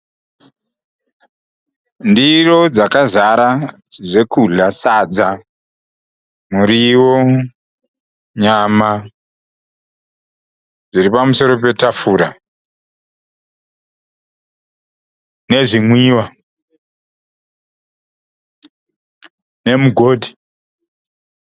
Ndiro dzakazara zvekudya. Sadza, muriwo, nyama zviripamusoro petafura nezvimwiwa nemugoti.